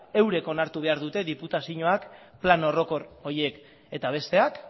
eurek onartu behar dute diputazioak plan orokor horiek eta besteak